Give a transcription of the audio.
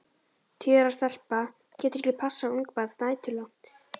Tíu ára stelpa getur ekki passað ungbarn næturlangt.